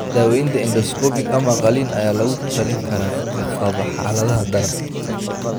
Daawaynta Endoscopic ama qalliin ayaa lagu talin karaa dadka qaba xaaladaha daran.